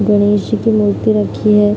गणेशजी की मूर्ति रखी है।